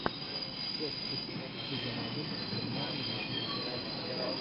часть четыре сезон один германия восемьдесят шесть